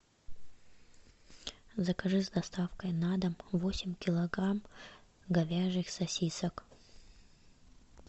закажи с доставкой на дом восемь килограмм говяжьих сосисок